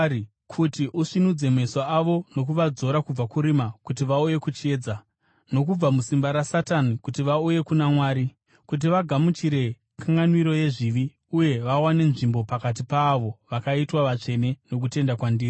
kuti usvinudze meso avo nokuvadzora kubva kurima kuti vauye kuchiedza, nokubva musimba raSatani kuti vauye kuna Mwari, kuti vagamuchire kanganwiro yezvivi uye vawane nzvimbo pakati paavo vakaitwa vatsvene nokutenda kwandiri.’